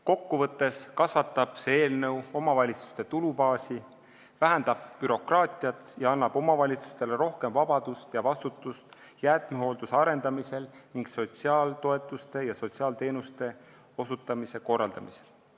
Kokkuvõttes kasvatab see eelnõu omavalitsuste tulubaasi, vähendab bürokraatiat ning annab omavalitsustele rohkem vabadust ja vastutust jäätmehoolduse arendamisel ning sotsiaaltoetuste ja sotsiaalteenuste osutamise korraldamisel.